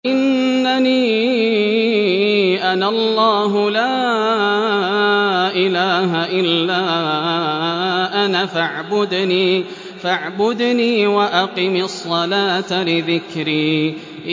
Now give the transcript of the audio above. إِنَّنِي أَنَا اللَّهُ لَا إِلَٰهَ إِلَّا أَنَا فَاعْبُدْنِي وَأَقِمِ الصَّلَاةَ لِذِكْرِي